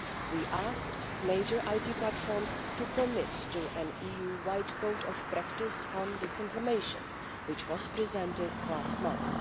We asked major IT platforms to commit to an EU wide Code of Practice on Disinformation, which was presented last month.